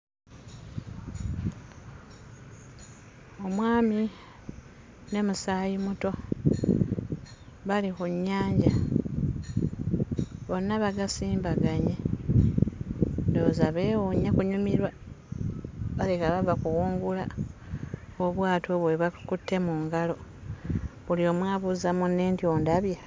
Omwami ne musaayimuto bali ku nnyanja bonna bagasimbaganye ndowooza beewuunya kunyumirwa balabika bava kuwungula obwato obwo bwe bakutte mu ngalo. Buli omu abuuza munne nti ondabye?